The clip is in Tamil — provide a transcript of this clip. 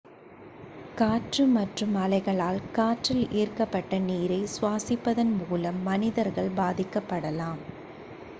காற்று மற்றும் அலைகளால் காற்றில் ஈர்க்கப்பட்ட நீரை சுவாசிப்பதன் மூலம் மனிதர்கள் பாதிக்கப்படலாம்